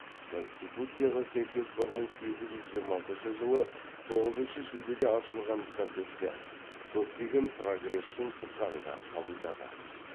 конституцияға сәйкес бір мың сегіз жүз жиырмасыншы жылы тоғызыншы шілдеде ашылған кортестер көптеген прогресшіл заңдар қабылдады